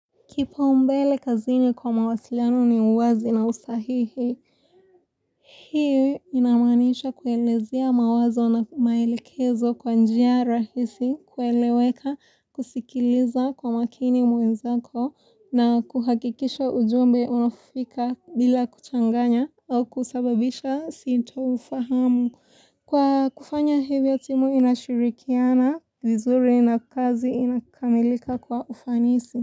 Kipaumbele kazini kwa mawasiliano ni uwazi na usahihi. Hii inamanisha kuelezia mawazo na maelekezo kwa njia rahisi kueleweka kusikiliza kwa makini mwenzako na kuhakikisha ujumbe umefika bila kuchanganya au kusababisha sindofahamu. Kwa kufanya hivyo timu inashirikiana vizuri na kazi inakamilika kwa ufanisi.